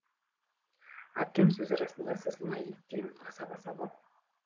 әпкем сөз арасында сызылмай еттен асап асап ал